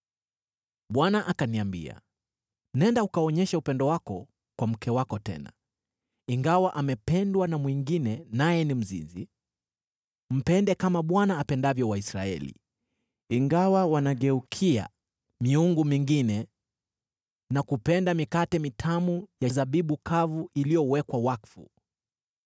Bwana akaniambia, “Nenda, ukaonyeshe upendo wako kwa mke wako tena, ingawa amependwa na mwingine naye ni mzinzi. Mpende kama Bwana apendavyo Waisraeli, ingawa wanageukia miungu mingine na kupenda mikate mitamu ya zabibu kavu iliyowekwa wakfu.”